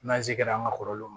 N'an sigi kɛra an ka kɔrɔlenw